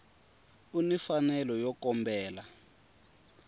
u ni mfanelo yo kombela